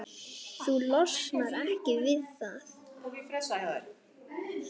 Þú losnar ekki við það.